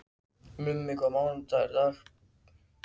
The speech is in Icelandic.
Mummi, hvaða mánaðardagur er í dag?